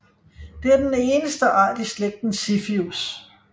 Det er den eneste art i slægten Ziphius